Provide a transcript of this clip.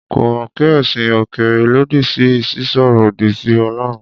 Kò mọ̀ pé ẹ̀sìn òkèèrè lòdì sí sísọ̀rọ̀ òdì sí Ọlọ́run.